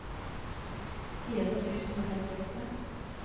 fire tusen og femtiåtte